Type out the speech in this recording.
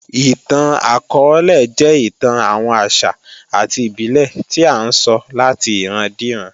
Ìtàn akọọ́lẹ̀ jẹ́ ìtàn àwọn àṣà àti ìbílè tí à ńsọ láti ìran díran